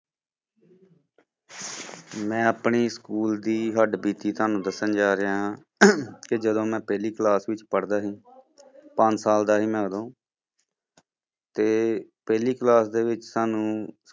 ਮੈਂ ਆਪਣੇ school ਦੀ ਹੱਡਬੀਤੀ ਤੁਹਾਨੂੰ ਦੱਸਣ ਜਾ ਰਿਹਾ ਹਾਂ ਕਿ ਜਦੋਂ ਮੈਂ ਪਹਿਲੀ class ਵਿੱਚ ਪੜ੍ਹਦਾ ਸੀ, ਪੰਜ ਸਾਲ ਦਾ ਸੀ ਮੈਂ ਉਦੋਂ ਤੇ ਪਹਿਲੀ class ਦੇ ਵਿੱਚ ਸਾਨੂੰ